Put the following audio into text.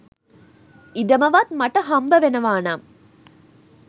ඉඩමවත් මට හම්බ වෙනවා නම්